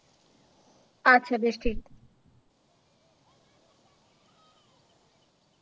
আচ্ছা বেশ ঠিক।